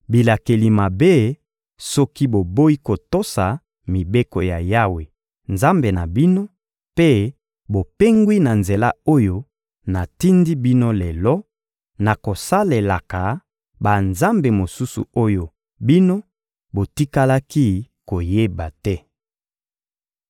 bilakeli mabe, soki boboyi kotosa mibeko ya Yawe, Nzambe na bino, mpe bopengwi na nzela oyo natindi bino lelo, na kosalelaka banzambe mosusu oyo bino botikalaki koyeba te.